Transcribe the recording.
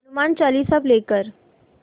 Hanuman Chalisa play कर